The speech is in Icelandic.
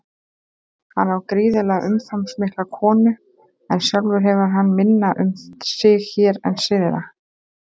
Hann á gríðarlega umfangsmikla konu en sjálfur hefur hann minna um sig hér en syðra.